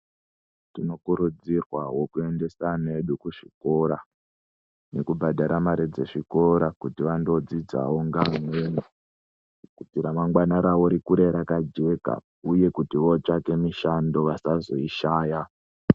Tinokurudzirwawo kuendesa ana edu kuzvikora nekubhadhara mare dzezvikora kuti andodzidzawo ngeamweni kuti remangwani rawo rikure rakajeka uye kuti votsvake mushando vasazoishaya.